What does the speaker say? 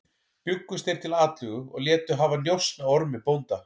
Bjuggust þeir til atlögu og létu hafa njósn á Ormi bónda.